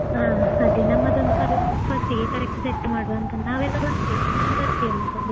ಹಾ ಅದೇ ನಮ್ಮದೊಂದು first ಗೆ correct ಆಗಿ set ಮಾಡ್ವಾ ಅಂತಾ. ನಾವೆಲ್ಲ ಬರ್ತೇವೆ ನೀನು ಬರ್ತೀಯಾ ಅಲ್ವಾ ಹಾಗಾದ್ರೆ?